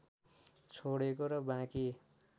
छोडेको र बाँकी